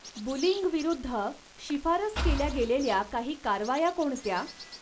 बुलींगविरुद्ध शिफारस केल्या गेलेल्या काही कारवाया कोणत्या?